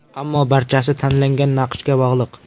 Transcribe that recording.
Ammo barchasi tanlangan naqshga bog‘liq.